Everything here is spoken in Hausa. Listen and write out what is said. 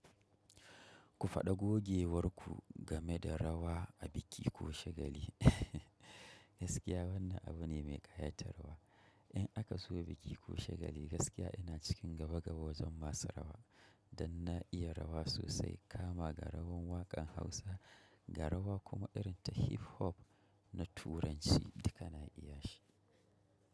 Ku faɗa gogewar ku game da rawa a biki ko shagali. Gaskiya wannan abu ne mai ƙayatarwa. In aka zo biki ko shagali gaskiya ina cikin gaba-gaba wajen masu rawa don na iya rawa sosai kama ga rawan wakan Hausa, ga rawan kuma irin ta hiphop na turanci duka na iya shi.